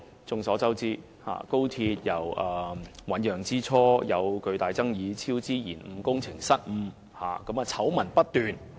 眾所周知，高鐵由醞釀之初便出現巨大爭議，超支、延誤、工程失誤，醜聞不斷。